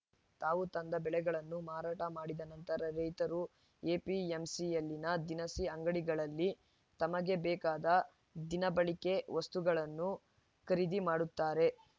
ತಾವು ತಂದ ಬೆಳೆಗಳನ್ನು ಮಾರಾಟ ಮಾಡಿದ ನಂತರ ರೈತರು ಎಪಿಎಂಸಿಯಲ್ಲಿನ ದಿನಸಿ ಅಂಗಡಿಗಳಲ್ಲಿ ತಮಗೆ ಬೇಕಾದ ದಿನಬಳಕೆ ವಸ್ತುಗಳನ್ನು ಖರೀದಿ ಮಾಡುತ್ತಾರೆ